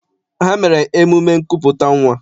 Ha mere emume nkupụta nnwa.